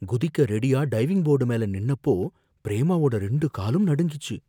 குதிக்க ரெடியா diving board மேல நின்னப்போ பிரேமாவோட ரெண்டு காலும் நடுங்கிச்சு.